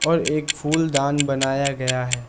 और एक फूलदान बनाया गया है।